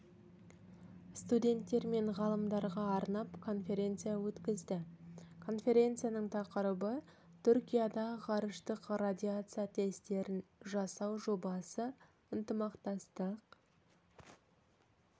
студенттер мен ғалымдарға арнап конференция өткізді конференцияның тақырыбы түркияда ғарыштық радиация тестерін жасау жобасы ынтымақтастық